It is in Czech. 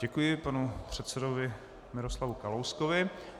Děkuji panu předsedovi Miroslavu Kalouskovi.